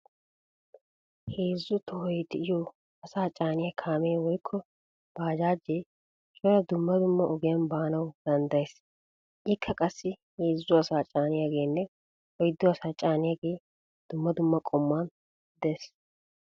Heezzu tohoy de"iyo asaa caaniyaa kaamee woykko baajaaje cora dumma dumma ogiyan baanawu danddayees. Ikka qassi heezzu asaa caaniyaageenne oyddu asaa caaniyaagee dumma dumma qommuwan de'ees.